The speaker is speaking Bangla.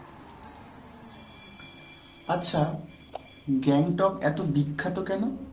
আচ্ছা গ্যাংটক এত বিখ্যাত কেন?